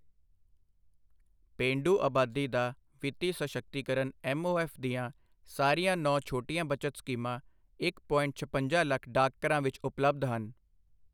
ਪੇਂਡੂ ਅਬਾਦੀ ਦਾ ਵਿੱਤੀ ਸਸ਼ਕਤੀਕਰਨ ਐਮਓਐਫ ਦੀਆਂ ਸਾਰੀਆਂ ਨੌਂ ਛੋਟੀਆਂ ਬਚਤ ਸਕੀਮਾਂ ਇੱਕ ਪੋਇੰਟ ਛਪੰਜਾ ਲੱਖ ਡਾਕਘਰਾਂ ਵਿੱਚ ਉਪਲਬਧ ਹਨ।